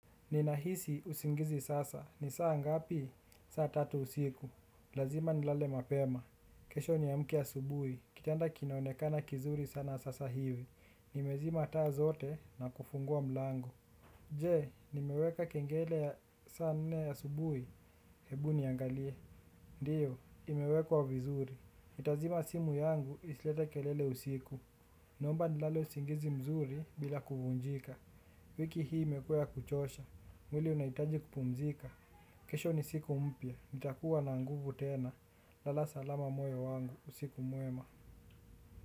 Ninahisi usingizi sasa. Ni saa ngapi? Saa tatu usiku. Lazima nilale mapema. Kesho niamke asubuhi. Kitanda kinaonekana kizuri sana sasa hivi. Nimezima taa zote na kufungua mlango. Je, nimeweka kengele ya saa nne asubuhi. Hebu niangalie. Ndiyo, imewekwa vizuri. Nitazima simu yangu isilete kelele usiku. Naomba nilale usingizi mzuri bila kuvunjika. Wiki hii imekua ya kuchosha. Mwili unahitaji kupumzika. Kesho ni siku mpya nitakuwa na nguvu tena. Lala salama moyo wangu. Usiku mwema.